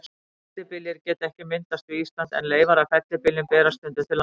Fellibyljir geta ekki myndast við Ísland, en leifar af fellibyljum berast stundum til landsins.